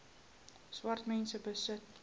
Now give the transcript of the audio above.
swart mense besit